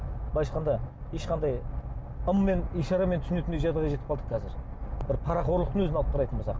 былайша айтқанда ешқандай ыммен ишарамен түсінетіндей жағдайға жетіп қалдық қазір бір парақорлықтың өзін алып қарайтын болсақ